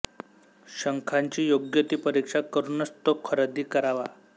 शंखाची योग्य ती परीक्षा करूनच तो खरेदी करावा